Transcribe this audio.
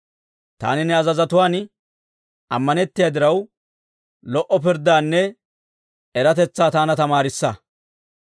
Taani ne azazotuwaan ammanettiyaa diraw, lo"o pirddaanne eratetsaa taana tamaarissa.